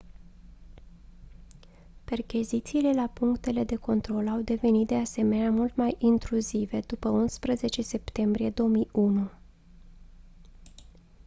perchezițiile la punctele de control au devenit de asemenea mult mai intruzive după 11 septembrie 2001